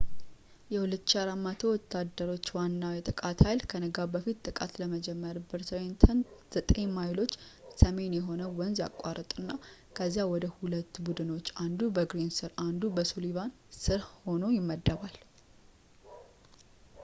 የ2,400 ወታደሮች ዋናው የጥቃት ኃይል ከንጋት በፊት ጥቃት ለመጀመር በትሬንተን ዘጠኝ ማይሎች ሰሜን የሆነውን ወንዝ ያቋርጥና ከዚያም ወደ ሁለት ቡድኖች አንዱ በግሪን ስር እና አንዱ በሱሊቫን ስር ሆኖ ይመደባል